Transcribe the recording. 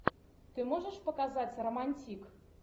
ты можешь показать романтик